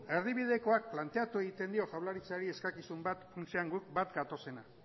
erdibidekoak planteatu egiten dio jaurlaritzari eskakizun bat funtsean guk bat gatozenak